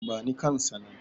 bani kansa nan!